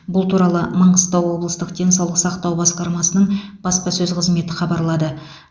бұл туралы маңғыстау облыстық денсаулық сақтау басқармасының баспасөз қызметі хабарлады